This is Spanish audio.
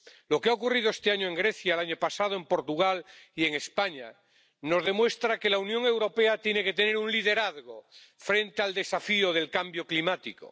Lo que ha ocurrido este año en Grecia, y el año pasado en Portugal y en España, nos demuestra que la Unión Europea tiene que tener un liderazgo frente al desafío del cambio climático.